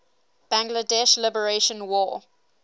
bangladesh liberation war